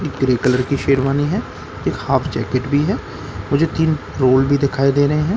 एक grey colour की शेरवानी है एक हाफ़ जैकेट भी है मुझे तीन फ्लोर भी दिखाई दे रहे हैं ।